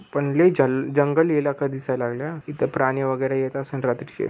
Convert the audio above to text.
पण लय जन जंगल इलाखा दिसाया लागलाय इथ प्राणी वगैरे येत असेल रात्रीचे.